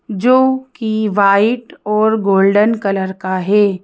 जो कि वाइट और गोल्डन कलर का है।